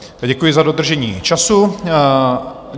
Děkuji za dodržení času.